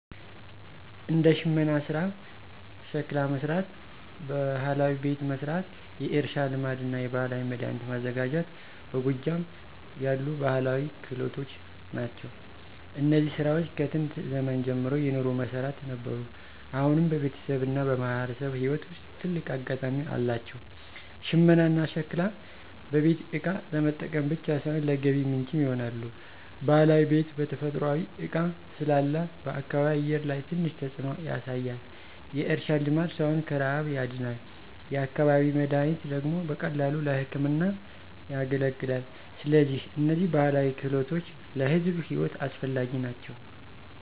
እንደ ሽመና ሥራ፣ ሸክላ መሥራት፣ ባህላዊ ቤት መሥራት፣ የእርሻ ልማድና የባህላዊ መድኃኒት ማዘጋጀት በጎጃም ያሉ ባህላዊ ክህሎት ናቸው። እነዚህ ሥራዎች ከጥንት ዘመን ጀምሮ የኑሮ መሠረት ነበሩ፣ አሁንም በቤተሰብና በማህበረሰብ ሕይወት ውስጥ ትልቅ አጋጣሚ አላቸው። ሽመናና ሸክላ በቤት እቃ ለመጠቀም ብቻ ሳይሆን ለገቢ ምንጭም ይሆናሉ። ባህላዊ ቤት በተፈጥሯዊ እቃ ስላለ በአካባቢ አየር ላይ ትንሽ ተጽዕኖ ያሳያል። የእርሻ ልማድ ሰውን ከረሃብ ያድናል፤ የአካባቢ መድኃኒት ደግሞ በቀላሉ ለሕክምና ያገለግላል። ስለዚህ እነዚህ ባህላዊ ክህሎቶች ለሕዝብ ሕይወት አስፈላጊ ናቸው።